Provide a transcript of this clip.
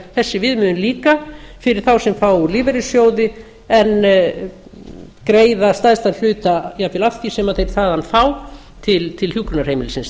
þessi viðmiðun líka fyrir þá sem fá úr lífeyrissjóði án reiða stærstan hluta jafnvel af því sem þeir þaðan fá til hjúkrunarheimilisins